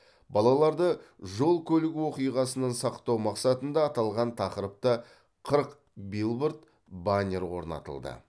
балаларды жол көлік оқиғасынан сақтау мақсатында аталған тақырыпта қырық билборд баннер орнатылды